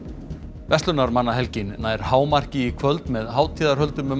verslunarmannahelgin nær hámarki í kvöld með hátíðarhöldum um